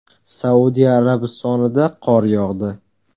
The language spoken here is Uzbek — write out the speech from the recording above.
Saudiya Arabistonida qor yog‘di.